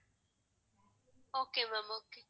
okay ma'am okay